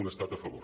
un estat a favor